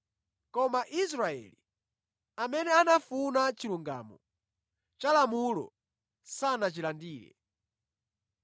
koma Aisraeli, amene anafuna chilungamo cha lamulo sanachilandire.